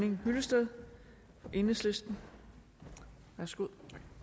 henning hyllested for enhedslisten værsgo